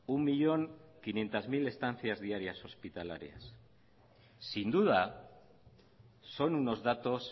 un millón quinientos mil estancias diarias hospitalarias sin duda son unos datos